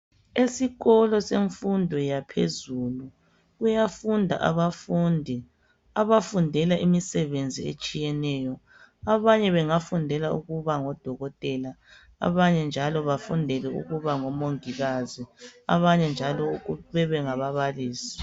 Esikolo semfundo yaphezulu kuyafunda abafundi abafundela imisebenzi etshiyeneyo , abanye bangafundela ukuba ngodokotela abanye njalo bafundela ukuba ngomongikazi abanye njalo bebe ngababalisi.